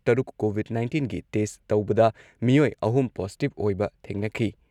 ꯇꯔꯨꯛ ꯀꯣꯚꯤꯗ ꯅꯥꯏꯟꯇꯤꯟꯒꯤ ꯇꯦꯁꯠ ꯇꯧꯕꯗ ꯃꯤꯑꯣꯏ ꯑꯍꯨꯝ ꯄꯣꯖꯤꯇꯤꯚ ꯑꯣꯏꯕ ꯊꯦꯡꯅꯈꯤ ꯫